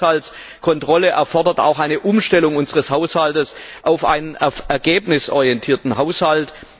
Bessere Haushaltskontrolle erfordert auch eine Umstellung unseres Haushaltes auf einen ergebnisorientierten Haushalt.